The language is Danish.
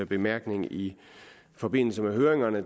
bemærkning i forbindelse med høringen og